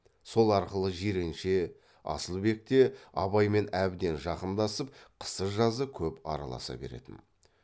сол арқылы жиренше асылбек те абаймен әбден жақындасып қысы жазы көп араласа беретін